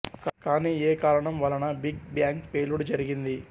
కానీ ఏ కారణం వలన బిగ్ బ్యాంగ్ పేలుడు జరిగింది